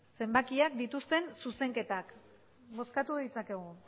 zenbakiak dituzten zuzenketak bozkatu ditzakegu